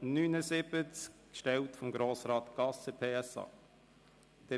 Dieser wurde von Grossrat Gasser, PSA, gestellt.